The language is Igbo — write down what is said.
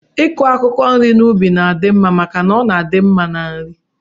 Iku akwụkwọ nri n'ubi na-adị mma maka na ọ na-adị mma na nri